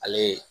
Ale ye